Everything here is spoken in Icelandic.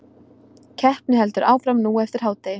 Keppni heldur áfram nú eftir hádegi